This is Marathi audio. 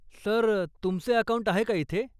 सर, तुमचे अकाऊंट आहे का इथे?